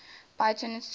bayonets took place